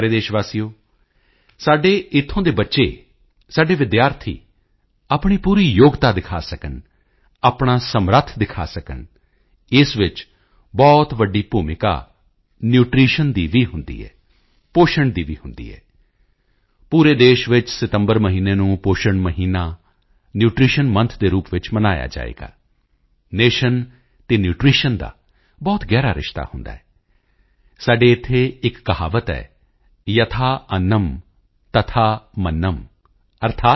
ਪਿਆਰੇ ਦੇਸ਼ਵਾਸੀਓ ਸਾਡੇ ਇੱਥੋਂ ਦੇ ਬੱਚੇ ਸਾਡੇ ਵਿਦਿਆਰਥੀ ਆਪਣੀ ਪੂਰੀ ਯੋਗਤਾ ਦਿਖਾ ਸਕਣ ਆਪਣਾ ਸਮਰੱਥ ਦਿਖਾ ਸਕਣ ਇਸ ਵਿੱਚ ਬਹੁਤ ਵੱਡੀ ਭੂਮਿਕਾ ਨਿਊਟ੍ਰੀਸ਼ਨ ਦੀ ਵੀ ਹੁੰਦੀ ਹੈ ਪੋਸ਼ਣ ਦੀ ਵੀ ਹੁੰਦੀ ਹੈ ਪੂਰੇ ਦੇਸ਼ ਵਿੱਚ ਸਤੰਬਰ ਮਹੀਨੇ ਨੂੰ ਪੋਸ਼ਣ ਮਹੀਨਾ ਨਿਊਟ੍ਰੀਸ਼ਨ ਮੌਂਥ ਦੇ ਰੂਪ ਵਿੱਚ ਮਨਾਇਆ ਜਾਵੇਗਾ ਨਾਇਓਨ ਅਤੇ ਨਿਊਟ੍ਰੀਸ਼ਨ ਦਾ ਬਹੁਤ ਗਹਿਰਾ ਰਿਸ਼ਤਾ ਹੁੰਦਾ ਹੈ ਸਾਡੇ ਇੱਥੇ ਇੱਕ ਕਹਾਵਤ ਹੈ ਯਥਾ ਅੰਨਮ ਤਥਾ ਮੰਨਮ यथा अन्नम तथा मन्न्म